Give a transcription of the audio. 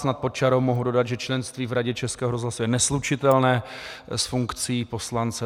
Snad pod čarou mohu dodat, že členství v Radě Českého rozhlasu je neslučitelné s funkcí poslance.